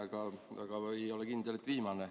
Jah, teine, aga ei ole kindel, et ka viimane.